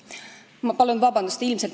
Ma palun vabandust!